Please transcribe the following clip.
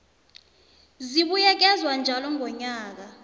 zibuyekezwa njalo ngonyaka